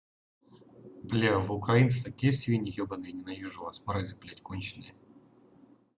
блядь вы украинцы такие свиньи ебаные ненавижу вас мрази блядь конченые